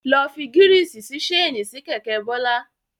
Lọ fi gírísì sí ṣéènì sí kẹ̀kẹ́ Bọ́lá.